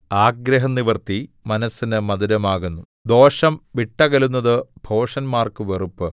ആഗ്രഹനിവൃത്തി മനസ്സിന് മധുരമാകുന്നു ദോഷം വിട്ടകലുന്നത് ഭോഷന്മാർക്ക് വെറുപ്പ്